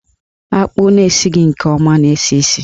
Akpụ na-esighi nke ọma na-esi isi.